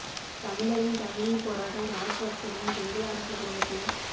தமிழரின் தமிழீபோராட்டம் இராஜ்பகசவின் சிங்கள அரச குடும்பத்தின்